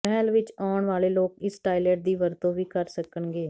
ਮਹੱਲ ਵਿਚ ਆਉਣ ਵਾਲੇ ਲੋਕ ਇਸ ਟਾਇਲਟ ਦੀ ਵਰਤੋਂ ਵੀ ਕਰ ਸਕਣਗੇ